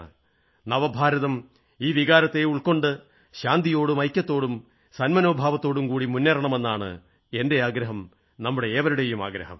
നവഭാരതം ഈ വികാരത്തെ ഉൾക്കൊണ്ടുകൊണ്ട് ശാന്തിയോടും ഐക്യത്തോടും സന്മനോഭാവത്തോടും കൂടി മുന്നേറണമെന്നാണ് എന്റെ ആഗ്രഹം നമ്മുടെ ഏവരുടെയും ആഗ്രഹം